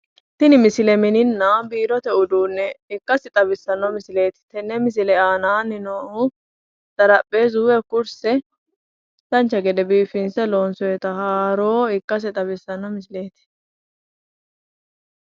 Tini misile mininna biirote uduune ikkase leellishano, kurino kurse woyi karawote biifado ikkase xawisano misileti